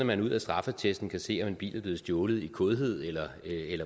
man ud af straffeattesten kan se om en bil er blevet stjålet i kådhed eller